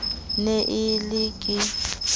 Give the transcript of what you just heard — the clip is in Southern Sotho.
ne e le e ke